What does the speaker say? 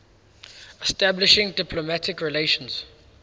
establishing diplomatic relations